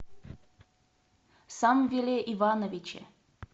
самвеле ивановиче